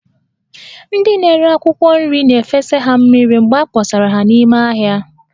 Ndị na-ere akwụkwọ nri na-efesa ha mmiri mgbe a kpọsara ha n'ime ahịa